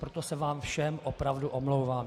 Proto se vám všem opravdu omlouvám.